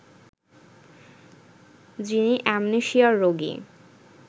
যিনি অ্যামনেশিয়ার রোগী